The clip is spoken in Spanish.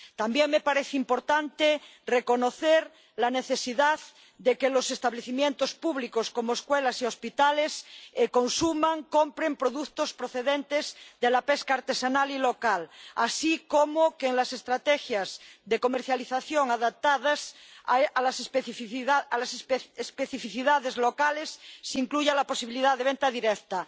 También me parece importante reconocer la necesidad de que los establecimientos públicos, como escuelas y hospitales, consuman y compren productos procedentes de la pesca artesanal y local, así como que en las estrategias de comercialización adaptadas a las especificidades locales se incluya la posibilidad de venta directa.